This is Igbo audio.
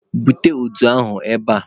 Bute udu ahụ ebe a!